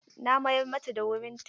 Na mayar mata da wurin ta.